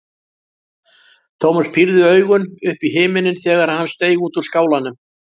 Thomas pírði augun upp í himininn þegar hann steig út úr skálanum.